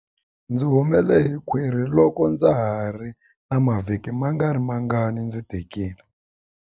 Ndzi humele hi khwiri loko ndza ha ri na mavhiki mangarimangani ndzi tikile.